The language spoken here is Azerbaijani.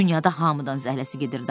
Dünyada hamıdan zəhləsi gedirdi.